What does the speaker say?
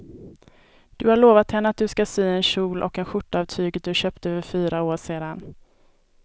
Du har lovat henne att du ska sy en kjol och skjorta av tyget du köpte för fyra år sedan.